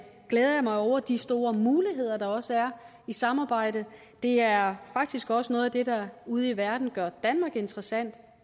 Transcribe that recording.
glæder jeg mig over de store muligheder der også er i samarbejdet det er faktisk også noget af det der ude i verden gør danmark interessant